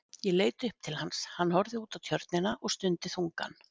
Ég leit upp til hans, hann horfði út á Tjörnina og stundi þungan.